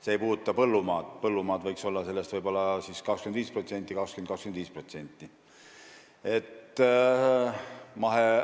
See ei puuduta põllumaad, põllumaad võiks olla sellest 20–25%.